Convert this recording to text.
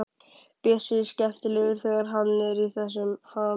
Bjössi er skemmtilegur þegar hann er í þessum ham.